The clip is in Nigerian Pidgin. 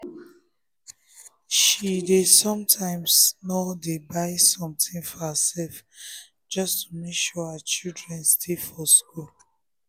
she dey sometimesno dey buy something for herself just to make sure her children um stay for school.